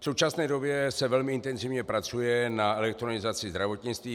V současné době se velmi intenzivně pracuje na elektronizaci zdravotnictví.